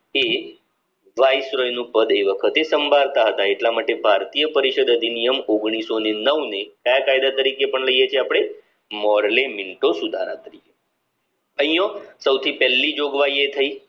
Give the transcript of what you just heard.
એ viceroy નું પદ એ વખતે સાંભળતા હતા એટલા માટે ભારતીય પરિષદ અધિનિયમ ઓગણીસો ને નવ ને કયા કાયદા તરીકે પણ લઈએ છીએ અપડે મોરલે મિન્ટો અહીંયા સૌથી પેલી જોગવાઈ એ થઇ કે